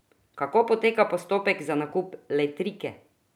Kako poteka postopek za nakup Letrike?